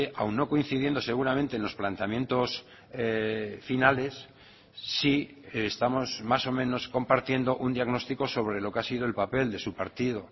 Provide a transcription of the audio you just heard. aun no coincidiendo seguramente en los planteamientos finales sí estamos más o menos compartiendo un diagnóstico sobre lo que ha sido el papel de su partido